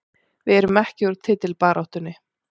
Við erum ekki úr titilbaráttunni